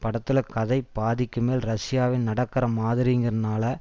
படத்துல கதை பாதிக்கு மேல் ரஷ்யாவில் நடக்கிற மாதிரிங்கிறதுனால